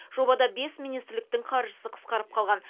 жобада бес министрліктің қаржысы қысқарып қалған